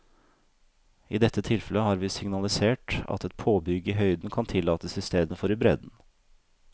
I dette tilfellet har vi signalisert at et påbygg i høyden kan tillates i stedet for i bredden.